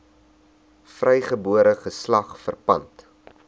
vrygebore geslag verpand